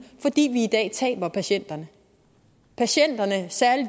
fordi vi i dag taber patienterne patienterne og særlig